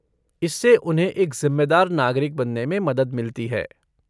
इससे उन्हें एक ज़िम्मेदार नागरिक बनने में मदद मिलती है।